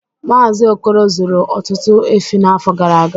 Mazi Okoro zụrụ ọtụtụ efi n'afọ gara aga